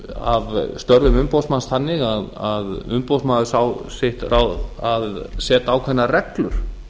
af störfum umboðsmanns þannig að umboðsmaður sá sitt ráð að setja ákveðnar reglur